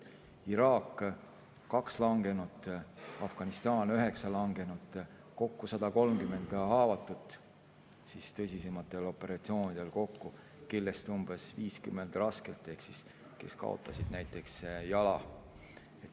Iraak – 2 langenut, Afganistan – 9 langenut, kokku 130 haavatut tõsisematel operatsioonidel kokku, nendest umbes 50 raskelt ehk kaotasid näiteks jala.